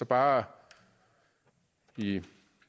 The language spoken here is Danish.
bare lige